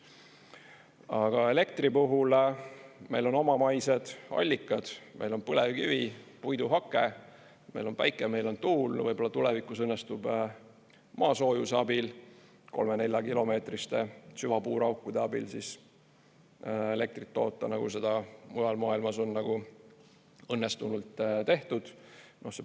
Aga elektri puhul meil on omamaised allikad, meil on põlevkivi, puiduhake, meil on päike, meil on tuul, võib-olla tulevikus õnnestub maasoojuse abil, 3–4-kilomeetriste süvapuuraukude abil elektrit toota, nagu seda mujal maailmas on õnnestunult tehtud.